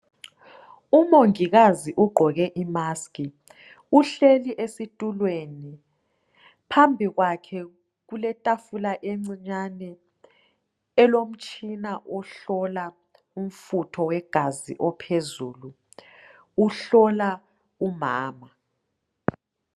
Umongikazi ugqoke imasiki uhleli esitulweni. Phambi kwakhe kuletafula encinyane elomtshina wokuhlola umfutho wegazi ophezulu. Uhlola umama.